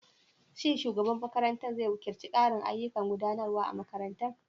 Shin shugaban makarantar zai wakilta ƙarin ayyukan gudanarwa a makarantar?